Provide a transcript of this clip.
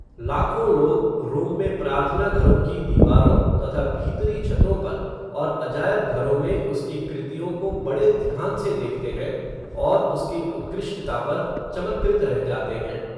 लाखों लोग, रोम में प्रार्थना घरों की दीवारों, तथा भीतरी छतों पर, और अजायब घरों में उसकी कृतियो को बड़े ध्यान से देखते हैं, और उसकी उत्कृष्टता पर, चमत्कृत रह जाते हैं